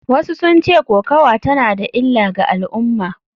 Wasu sun ce kokawa tana da illa ga al’umma.